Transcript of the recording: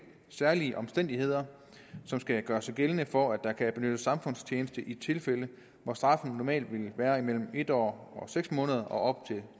særlige omstændigheder der skal gøre sig gældende for at der kan benyttes samfundstjeneste i tilfælde hvor straffen normalt ville være imellem en år og seks måneder og op til